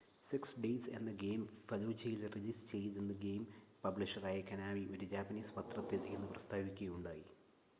six days എന്ന game ഫലൂജയിൽ release ചെയ്യില്ലെന്ന് ഗെയിം പബ്ലിഷറായ കൊനാമി ഒരു ജാപ്പനീസ് പത്രത്തിൽ ഇന്ന് പ്രസ്താവിക്കുകയുണ്ടായി